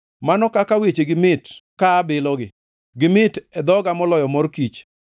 Mano kaka wechegi mit ka abilogi, gimit e dhoga moloyo mor kich!